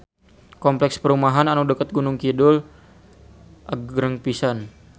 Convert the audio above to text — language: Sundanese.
Kompleks perumahan anu caket Gunung Kidul agreng pisan